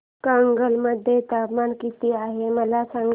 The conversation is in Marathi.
कागल मध्ये तापमान किती आहे मला सांगा